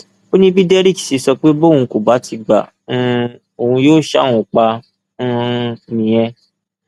ó ní bí derrick ṣe sọ pé bóun kò bá ti gba um òun yóò ṣa òun pa um nìyẹn